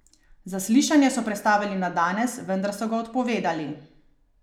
Zaslišanje so prestavili na danes, vendar so ga odpovedali.